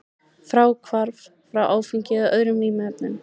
Fráhvarf frá áfengi eða öðrum vímuefnum.